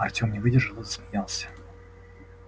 артём не выдержал и засмеялся